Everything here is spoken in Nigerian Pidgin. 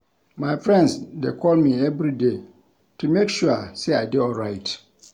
My friends dey call me everyday to make sure sey I dey alright.